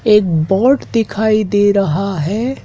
एक बोर्ड दिखाई दे रहा है।